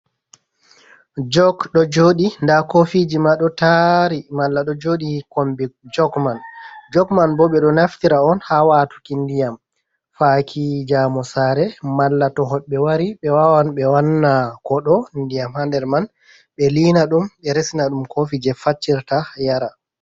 Jok ɗo jooɗi nɗa kofiji ma ɗo taari, malla ɗo jooɗi kombi jog man. Jog man bo ɓe ɗo naftira'on ha watuki ndiyam faki jamu Sare, malla to hobɓe wari ɓe wawan ɓe wanna kooɗo ndiyam ha nder man ɓe liinaɗum, ɓe resanaɗum kofi je faccirta yara.